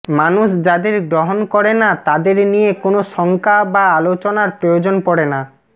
মানুষ যাদের গ্রহণ করে না তাদের নিয়ে কোনো শঙ্কা বা আলোচনার প্রয়োজন পড়ে না